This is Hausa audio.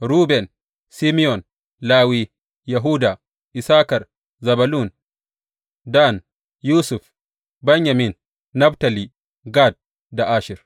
Ruben, Simeyon, Lawi, Yahuda, Issakar, Zebulun, Dan, Yusuf, Benyamin, Naftali, Gad da Asher.